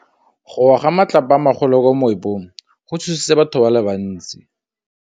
Go wa ga matlapa a magolo ko moepong go tshositse batho ba le bantsi.